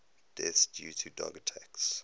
deaths due to dog attacks